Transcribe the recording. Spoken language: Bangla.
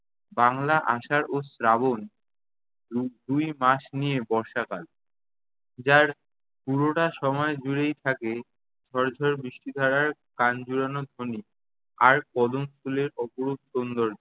বাঙলা আষাঢ় ও শ্রাবণ দু~ দুই মাস নিয়ে বর্ষাকাল। যার পুরোটা সময় জুড়েই থাকে ঝর-ঝর বৃষ্টিধারার প্রাণ জুড়ানো ধ্বনি। আর কদম ফুলের অপরূপ সৌন্দর্য।